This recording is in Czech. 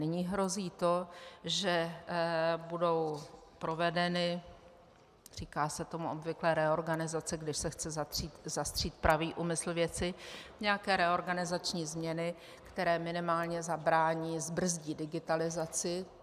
Nyní hrozí to, že budou provedeny - říká se tomu obvykle reorganizace, když se chce zastřít pravý úmysl věci - nějaké reorganizační změny, které minimálně zabrání, zbrzdí digitalizaci.